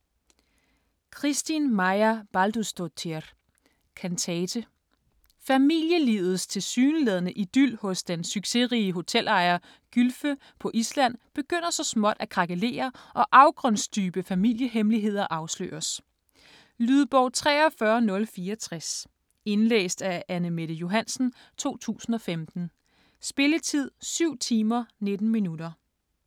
Kristín Marja Baldursdóttir: Kantate Familielivets tilsyneladende idyl hos den succesrige hotelejer Gylfe på Island begynder så småt at krakelere og afgrundsdybe familiehemmeligheder afsløres. Lydbog 43064 Indlæst af Anne-Mette Johansen, 2015. Spilletid: 7 timer, 19 minutter.